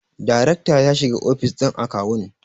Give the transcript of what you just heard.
daracta ya shiga ofis din akawun